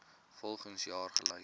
volgens jaar gelys